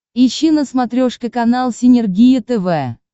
ищи на смотрешке канал синергия тв